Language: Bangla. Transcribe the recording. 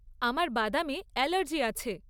আমার বাদামে এলার্জি আছে।